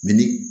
ni